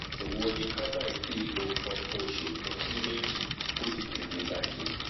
ẹwo ni ká má tíì lo nkan fún oṣù kan sí méjì kóti tètè bàjẹ́